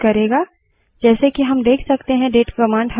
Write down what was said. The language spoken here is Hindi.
यह system का वर्तमान समय और दिनांक प्रदर्शित करेगा